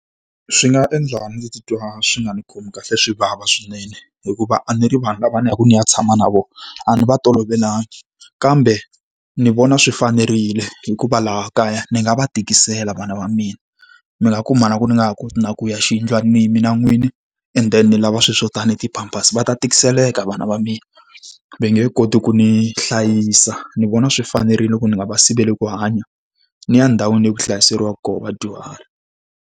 Swi nga endla ndzi titwa swi nga ndzi khomi kahle swi vava swinene, hikuva a ni ri vanhu lava ndzi yaka ndzi ya tshama na vona a ni va tolovelanga. Kambe ndzi vona swi fanerile hikuva laha kaya ni nga va tikisela vana va mina. Mi nga kuma na ku ni nga ha koti na ku ya xiyindlwanini mina n'wini, and then lava swilo swo tanihi ti-pampers. Va ta tikiseleka vana va mina, va nge koti ku ni hlayisa. Ni vona swi fanerile ku ni nga va siveli ku hanya, ni ya ndhawini leyi ku hlayiseriwaka kona vadyuhari.